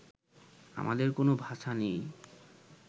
আমাদের কোনো ভাষা নেই